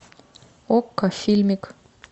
окко фильмик